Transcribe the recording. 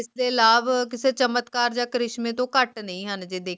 ਲਾਭ ਕਿਸੇ ਚਮਤਕਾਰ ਜਾਂ ਕ੍ਰਿਸ਼ਮੇ ਤੋਂ ਘੱਟ ਨਹੀਂ ਹਨ ਜੇ ਦੇਖ੍ਯਾ